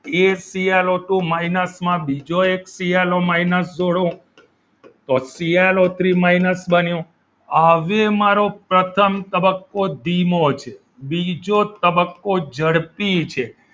એક C L O two minus બીજો એક સી એલ ઓ minus છોડું તો C L O three minus બન્યો હવે મારો પ્રથમ તબક્કો ધીમો છે બીજો તબક્કો ઝડપી છે.